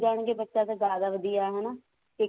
ਜਾਣਗੇ ਬੱਚੇ ਤਾਂ ਜਿਆਦਾ ਵਧੀਆ ਹਨਾ ਸਿੱਖ